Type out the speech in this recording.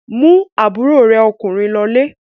Mú àbúrò rẹ ọkùnrin lọlé!